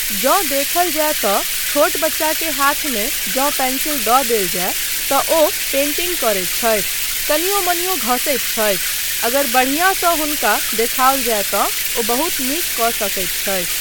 जँ देखल जाय तँ छोट बच्चाकेँ हाथमे जँ पेंसिल दऽ देल जाय तँ ओ पेन्टिंग करैत छथि, कनियो मनियो घसैत छथि, अगर बढ़िआँसँ हुनका देखाओल जाय तँ ओ बहुत नीक कऽ सकैत छथि।